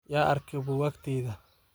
Yaa arke bukakteydha.